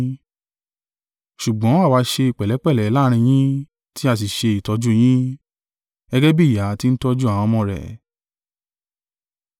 Ṣùgbọ́n àwa ṣe pẹ̀lẹ́pẹ̀lẹ́ láàrín yín tí a sì ṣe ìtọ́jú yín. Gẹ́gẹ́ bí ìyá ti ń tọ́jú àwọn ọmọ rẹ̀,